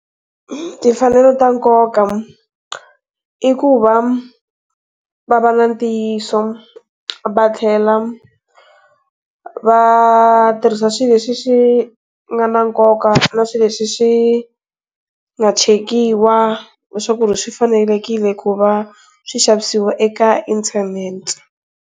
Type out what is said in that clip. Timfanelo ta nkoka i ku va, va va na ntiyiso va tlhela va tirhisa swi leswi swi nga na nkoka, na swi leswi swi nga chekiwa leswaku swi fanelekile ku va swi xavisiwa eka inthanete.